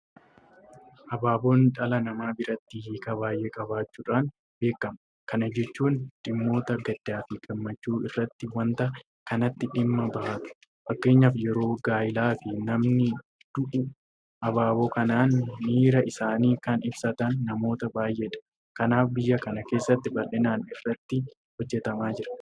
Abaaboon dhala namaa biratti hiika baay'ee qabaachuudhaan beekama. Kana jechuun dhimmoota gaddaafi gammachuu irratti waanta kanatti dhimma bahatu. Fakkeenyaaf yeroo gaayilaafi namni du'u abaaboo kanaan miira isaanii kan ibsatan namoota baay'eedha. Kanaaf biyya kana keessatti bal'inaan irratti hojjetamaa jira.